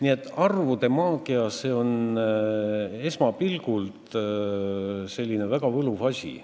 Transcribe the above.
Jah, arvude maagia on esmapilgul väga võluv asi.